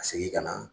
Ka segin ka na